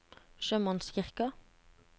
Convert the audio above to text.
sjømannskirken